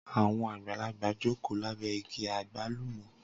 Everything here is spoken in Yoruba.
Awọn agbalagba joko labẹ igi agbalumo.